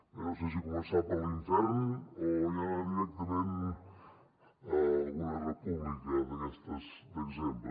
bé no sé si començar per l’infern o ja anar directament a alguna república d’aquestes d’exemple